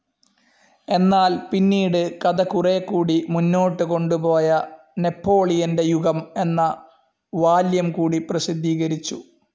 എന്നാൽ പിന്നീട് കഥ കുറേക്കൂടി മുന്നോട്ടുകൊണ്ടുപോയ നെപ്പോളിയന്റെ യുഗം എന്ന വോളിയും കൂടി പ്രസിദ്ധീകരിച്ചു.